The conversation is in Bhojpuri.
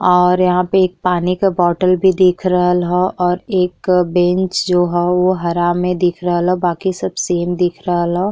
और यहाँ पे एक पानी का बॉटल भी दिख रहल ह और एक बेंच जो ह उ हरा में दिख रहल ह बाकी सब सेम दिख रहल ह।